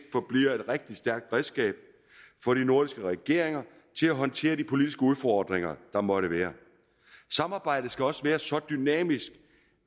forbliver et rigtig stærkt redskab for de nordiske regeringer til at håndtere de politiske udfordringer der måtte være samarbejdet skal også være så dynamisk